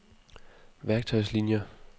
værktøjslinier